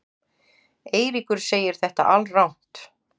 Eiríkur segir þetta alrangt.